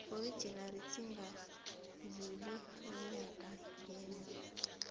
original singadluli eenyangeni